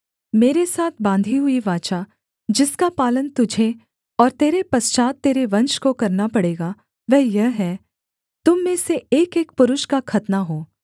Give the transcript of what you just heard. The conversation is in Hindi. मेरे साथ बाँधी हुई वाचा जिसका पालन तुझे और तेरे पश्चात् तेरे वंश को करना पड़ेगा वह यह है तुम में से एकएक पुरुष का खतना हो